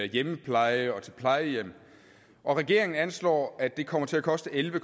hjemmepleje og til plejehjem regeringen anslår at det kommer til at koste elleve